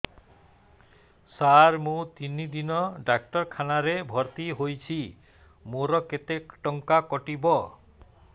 ସାର ମୁ ତିନି ଦିନ ଡାକ୍ତରଖାନା ରେ ଭର୍ତି ହେଇଛି ମୋର କେତେ ଟଙ୍କା କଟିବ